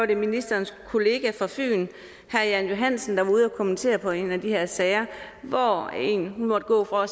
det ministerens kollega fra fyn herre jan johansen der var ude og kommentere på en af de her sager hvor en måtte gå fra